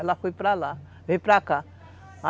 Ela foi para lá, veio para cá.